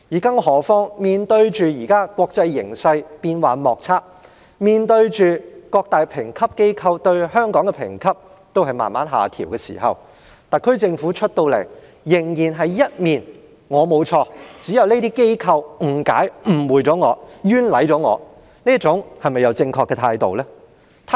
更何況面對現時國際形勢變幻莫測，面對各大評級機構把香港的評級逐步下調的時候，特區政府依然一副"我沒有錯，只是那些機構誤解、誤會及冤枉我"的態度，這樣是否正確呢？